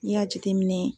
N'i y'a jateminɛ